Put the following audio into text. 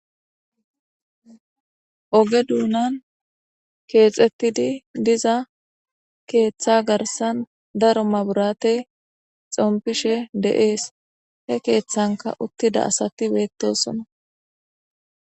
Oge duunan keexettidi diza keeththa garsan daro maburate xompishe de7ees he keeththanka uttida asati beettosona.